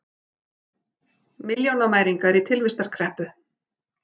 Milljónamæringar í tilvistarkreppu